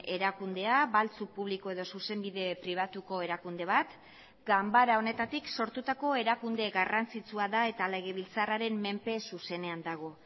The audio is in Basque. erakundea baltzu publiko edo zuzenbide pribatuko erakunde bat ganbara honetatik sortutako erakunde garrantzitsua da eta legebiltzarraren menpe zuzenean dago